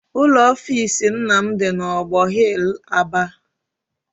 Ụlọ offisi nna m dị n'ọgbọ hill, Aba.